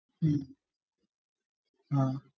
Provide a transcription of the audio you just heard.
ആഹ്